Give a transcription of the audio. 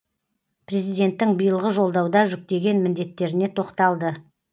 президенттің биылғы жолдауда жүктеген міндеттеріне тоқталды